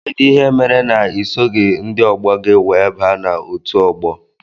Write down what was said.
Kedụ ihe mere na isoghi ndị ọgbọ gị wee baa n' ọtu ọgbọ?